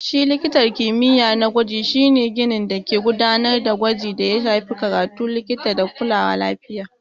Shi likitan kimiyya na gwaji shi ne ginin dake gudanar da gwaji da ya shafi karatun likita da kulawa lafiya.